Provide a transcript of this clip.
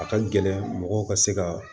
A ka gɛlɛn mɔgɔw ka se ka